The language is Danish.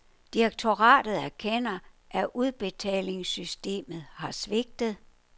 Direktoratet erkender, at udbetalingssystemet har svigtet.